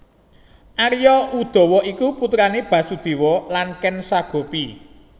Arya Udawa iku putrane Basudewa lan Ken Sagopi